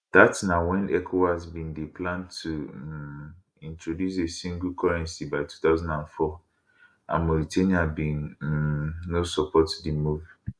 dat na wen ecowas bin dey plan to um introduce a single currency by 2004 and mauritania bin um no support di move